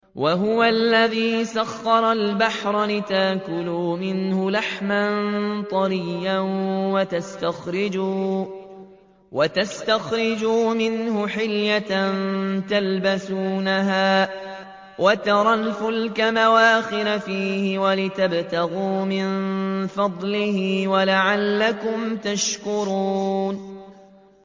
وَهُوَ الَّذِي سَخَّرَ الْبَحْرَ لِتَأْكُلُوا مِنْهُ لَحْمًا طَرِيًّا وَتَسْتَخْرِجُوا مِنْهُ حِلْيَةً تَلْبَسُونَهَا وَتَرَى الْفُلْكَ مَوَاخِرَ فِيهِ وَلِتَبْتَغُوا مِن فَضْلِهِ وَلَعَلَّكُمْ تَشْكُرُونَ